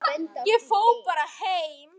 En við vorum alveg viss.